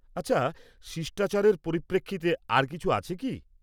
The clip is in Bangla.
আচ্ছা, শিষ্টাচারের পরিপ্রেক্ষিতে আর কিছু আছে কি?